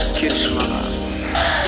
келші маған